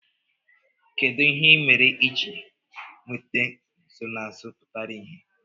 Kedu ihe ị mere iji nweta nsonaazụ pụtara ìhè?